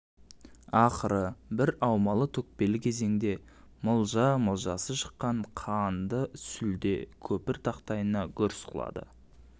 ақыры бір аумалы-төкпелі кезеңде мылжа-мылжасы шыққан қанды сүлде көпір тақтайына гүрс құлады